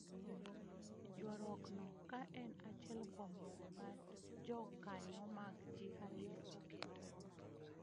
Ywaruok no ka en achiel kuom yore ma jokanyo mag jihad ne oketo